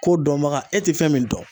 Ko dɔnbaga, e te fɛn min dɔn